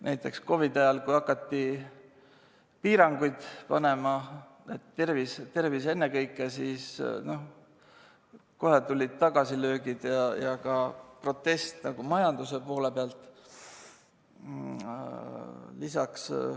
Näiteks COVID‑i ajal, kui hakati piiranguid panema, et tervis ennekõike, siis kohe tulid tagasilöögid ja ka protest majanduse poole pealt.